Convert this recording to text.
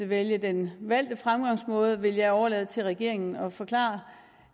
vælge den valgte fremgangsmåde vil jeg overlade til regeringen at forklare